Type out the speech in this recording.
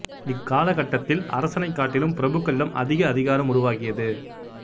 இக் காலகட்டத்தில் அரசனைக் காட்டிலும் பிரபுக்களிடம் அதிக அதிகாரம் உருவாகியது